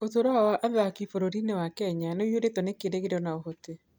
Ũtũũro wa athaki bũrũri-inĩ wa Kenya nĩ ũiyũrĩtwo nĩ kĩĩrĩgĩrĩro na ũhoti.